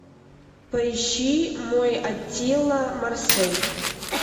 поищи мой аттила марсель